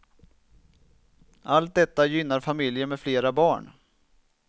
Allt detta gynnar familjer med flera barn.